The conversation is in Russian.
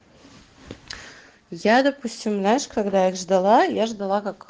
я допустим знаешь когда я ждала я ждала как